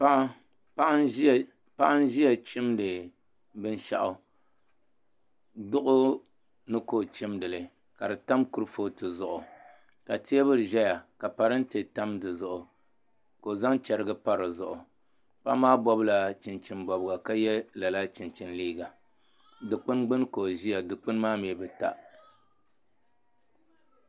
Paɣa n ʒiya chimdi binshaɣu duɣu ni ka o chimdili ka di tam kurifooti zuɣu ka teebuli ʒɛya ka parantɛ tam di zuɣu ka o zaŋ chɛrigi pa di zuɣu paɣa maa bobla chinchin bobga ka yɛ lala chinchin liiga dikpuni gbuni ka o ʒiya dilpuni maa mii bi ta